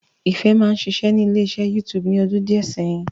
Ìfẹ́ máa ń ṣiṣẹ́ ní ilé iṣẹ́ YouTube ní ọdún díẹ̀ sẹ́yìn